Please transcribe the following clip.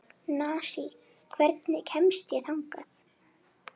Nansý, hvernig kemst ég þangað?